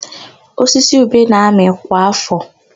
Osisi ube na-amị kwa áfọ̀.